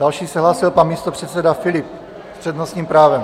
Další se hlásil pan místopředseda Filip s přednostním právem.